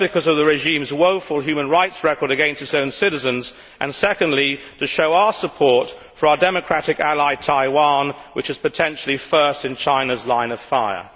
Firstly, because of the regime's woeful human rights record against its own citizens, and secondly, to show our support for our democratic ally Taiwan, which is potentially first in China's line of fire.